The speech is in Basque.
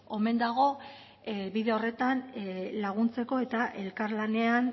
omen dago bide horretan laguntzeko eta elkarlanean